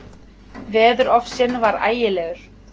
Veðurofsinn var ægilegur.